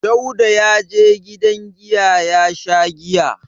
Dauda ya je gidan giya ya sha giya.